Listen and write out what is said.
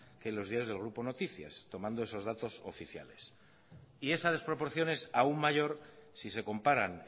que los diarios del grupo noticias tomando esos datos oficiales y esa desproporción es aún mayor si se comparan